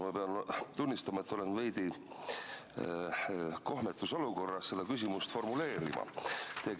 Ma pean tunnistama, et olen veidi kohmetus olukorras seda küsimust formuleerides.